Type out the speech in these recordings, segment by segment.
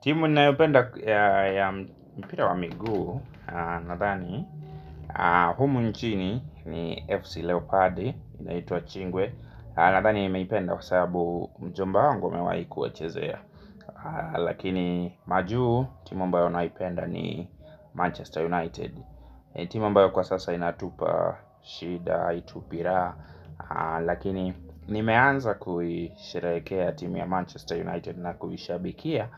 Timu ninayoipenda ya mpira wa miguu nadhani humu nchini ni FC Leopard inaitwa ingwe nadhani nimeipenda kwa sababu mjomba wangu amewahi kuwachezea. Lakini majuu timu ambayo naipenda ni Manchester United. Timu ambayo kwa sasa inatupa shida haitupi raha lakini nimeanza kuisherehekea timu ya Manchester United na kuishabikia.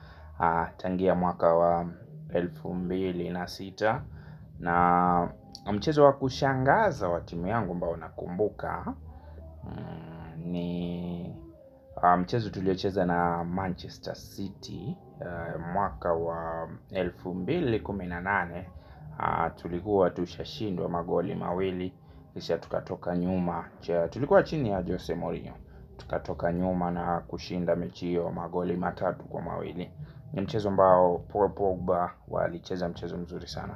Tangia mwaka wa elfu mbili na sita na mchezo wa kushangaza wa timu yangu ambao nakumbuka ni mchezo tuliocheza na Manchester City. Mwaka wa elfu mbili kumi na nane tulikuwa tushashindwa magoli mawili kisha tukatoka nyuma tulikuwa chini ya Jose Mourinho tukatoka nyuma na kushinda mechi hiyo magoli matatu kwa mawili. Mchezo ambao Paul Pogba alicheza mchezo mzuri sana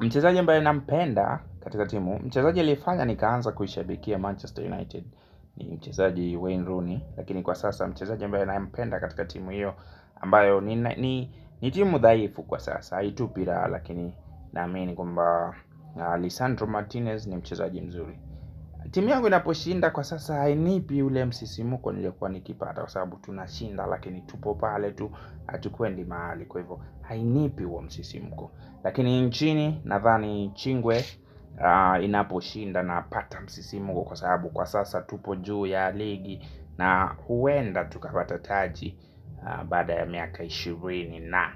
mchezaji ambaye nampenda katika timu mchezaji aliyefanya nikaanza kuishabikia Manchester United ni mchezaji Wayne Rooney lakini kwa sasa mchezaji ambaye ninayempenda katika timu hiyo ambayo ni ni timu dhaifu kwa sasa haitupi raha lakini naamini kwamba Lisandro Martinez ni mchezaji mzuri. Timu yangu inaposhinda kwa sasa hainipi ule msisimko niliokuwa nikipata kwa sababu tunashinda lakini tupo pale tu, hatukwendi mahali kwa hivyo, hainipi huo msisimko lakini nchini nadhani ingwe inaposhinda napata msisimko kwa sababu kwa sasa tupo juu ya ligi na huenda tukapata taji baada ya miaka ishirini na.